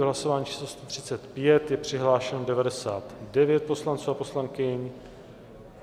V hlasování číslo 135 je přihlášeno 99 poslanců a poslankyň.